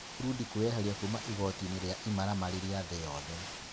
Burundi kwĩyeheria kuuma igooti-inĩ rĩa ĩmaramari rĩa thĩ yothe.